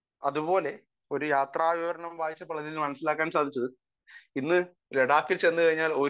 speaker 1 അതുപോലെ ഒരു യാത്രാ വിവരണം വായിച്ചപ്പോൾ അതിൽനിന്ന് മനസ്സിലാക്കാൻ സാധിച്ചത് ഇന്ന് ലഡാക്കിൽ ചെന്ന് കഴിഞ്ഞാൽ ഒരു